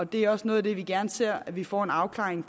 det er også noget af det vi gerne ser at vi får en afklaring